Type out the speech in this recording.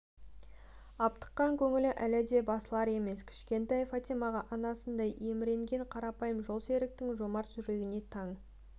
аптыққан көңілі әлі де басылар емес кішкентай фатимаға анасындай еміренген қарапайым жолсеріктің жомарт жүрегіне таң